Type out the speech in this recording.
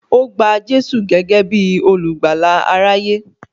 Ó gba Jésù gẹ́gẹ́ bí olùgbàlà aráyé